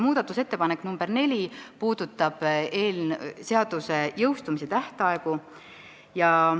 Muudatusettepanek nr 9 puudutab seaduse jõustumise tähtaegu.